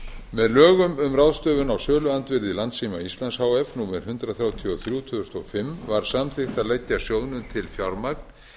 með lögum um ráðstöfun á söluandvirði landssíma íslands h f númer hundrað þrjátíu og þrjú tvö þúsund og fimm var samþykkt að leggja sjóðnum til fjármagn